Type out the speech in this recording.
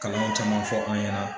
Kalanw caman fɔ an ɲɛna